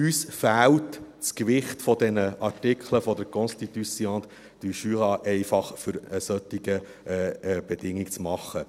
Uns fehlt das Gewicht dieser Artikel der Constitution du Jura einfach, um eine solche Bedingung zu machen.